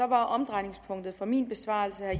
var omdrejningspunktet for min besvarelse af